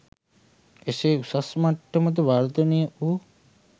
එසේ උසස් මට්ටමට වර්ධනය වූ